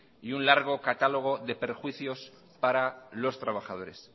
y un largo catálogo de perjuicios para los trabajadores